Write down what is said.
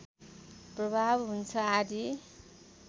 प्रभाव हुन्छ आदि